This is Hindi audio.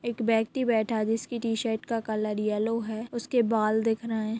एक व्यक्ति बैठा हैं जिसकी टी शर्ट का कलर येलो हैं उसके बाल दिख रहे हैं।